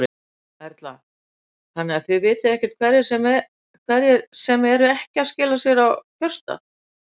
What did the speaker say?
Erla: Þannig að þið vitið ekkert hverjir sem eru ekki að skila sér á kjörstað?